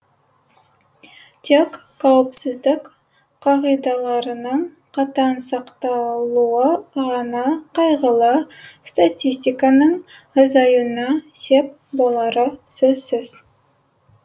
тек қауіпсіздік қағидаларының қатаң сақталуы ғана қайғылы статистиканың азаюына сеп болары сөзсіз